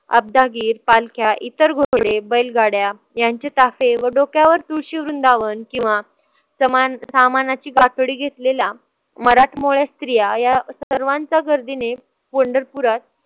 आबदागीर, पालख्या इतर बैलगाड्या यांचे चाफे व डोक्यावर तुळशी वृंदावन किंवा समान सामानाची गाठोडी घेतलेला मराठमोळ्या स्त्रिया या सर्वांच्या गर्दीने पंढरपुरात